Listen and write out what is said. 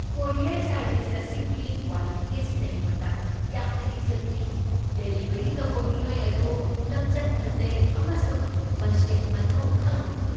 ꯄꯣꯔꯤꯌꯔ service ꯑꯁꯤꯒꯤ quality ꯑꯁꯤꯅ ꯑꯩꯉꯣꯟꯗ ꯌꯥꯝꯅ ꯏꯊꯤꯜ ꯄꯤ꯫ ꯗꯦꯂꯤꯚꯔꯤ ꯇꯧꯕ ꯃꯤꯑꯣꯏ ꯑꯗꯨ ꯂꯝꯆꯠ ꯐꯖꯩ ꯑꯃꯁꯨꯡ ꯃꯁꯤꯟ ꯃꯊꯧ ꯈꯪꯕ ꯑꯣꯏ꯫